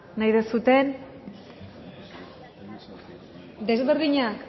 nahi duzuen desberdina